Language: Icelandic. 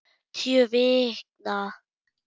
Tíu vikna